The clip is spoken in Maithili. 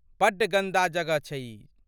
बड्ड गंदा जगह छै ई।